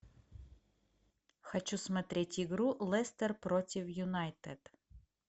хочу смотреть игру лестер против юнайтед